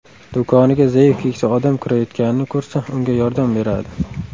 Do‘koniga zaif keksa odam kirayotganini ko‘rsa unga yordam beradi.